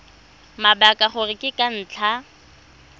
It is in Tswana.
mabaka gore ke ka ntlha